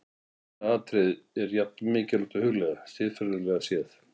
Annað atriði er jafn mikilvægt að hugleiða, siðfræðilega séð.